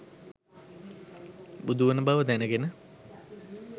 බුදුවන බව දැනගෙන